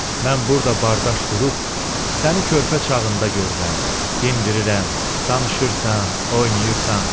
Mən burda bardaş qurub səni körpə çağında görürəm, dindirirəm, danışırsan, oynayırsan.